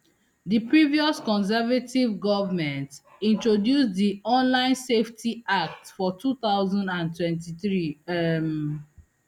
di previous conservative goment introduce di online safety act for two thousand and twenty-three um